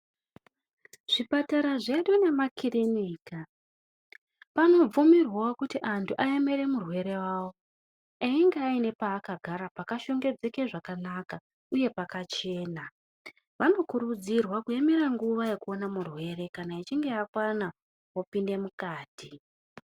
Zvipatara zvedu nemakirinika panobvumirwavo kuti muntu ayemere murwere vavo einge aine paakagara pakashongedzeke zvekanaka uye pakachena. Vanokurudzirwa kuyemera nguva yekuona murwere kana echinge akwana vopinde mukati.